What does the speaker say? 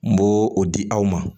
N b'o o di aw ma